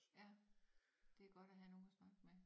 Ja det godt at have nogen at snakke med